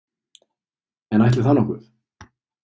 En ætli það nokkuð?